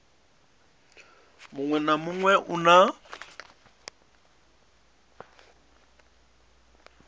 muṅwe na muṅwe u na